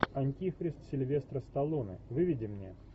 антихрист сильвестра сталлоне выведи мне